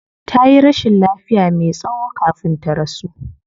Tayi rashin lafiya me tsayo kafin ta rasu